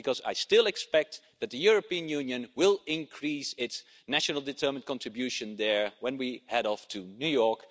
I expect that the European Union will increase its national determined contribution when we head off to New York.